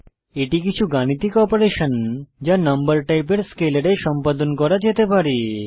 এটি কিছু গাণিতিক অপারেশন যা নম্বর টাইপের স্কেলারে সম্পাদন করা যেতে পারে